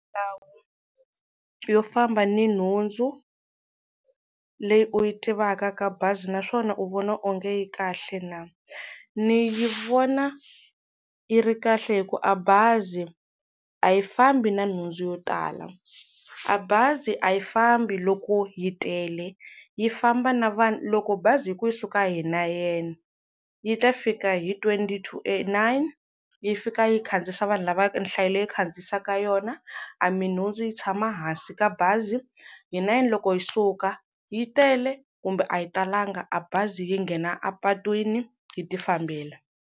Ndhawu yo famba ni nhundzu leyi u yi tivaka ka bazi naswona u vona onge yi kahle na? Ni yi vona yi ri kahle hi ku a bazi a yi fambi na nhundzu yo tala a bazi a yi fambi loko yi tele yi famba na vanhu loko bazi yi ku yi suka hi nayeni yi ta fika hi twenty to eight nine yi fika yi khandziyisa vanhu lava nhlayo leyi khandziyisaka yona a minhundzu yi tshama hansi ka bazi yi nine loko yi suka yi tele kumbe a yi talanga a bazi yi nghena a patwini yi ti fambela.